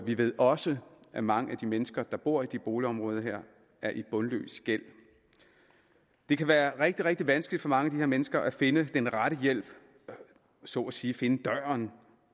vi ved også at mange af de mennesker der bor i de her boligområder er i bundløs gæld det kan være rigtig rigtig vanskeligt for mange af mennesker at finde den rette hjælp så at sige at finde døren